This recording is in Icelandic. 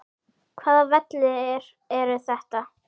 Hvaða vellir eru þetta?